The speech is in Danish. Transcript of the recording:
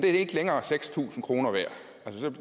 ikke længere seks tusind kroner værd